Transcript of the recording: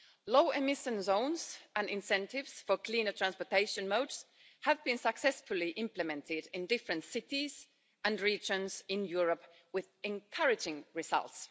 Low emission zones and incentives for cleaner transportation modes have been successfully implemented in different cities and regions in Europe with encouraging results.